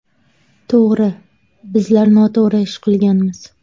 To‘g‘ri, bizlar noto‘g‘ri ish qilganmiz.